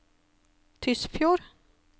Tysfjord